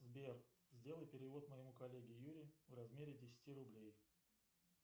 сбер сделай перевод моему коллеге юре в размере десяти рублей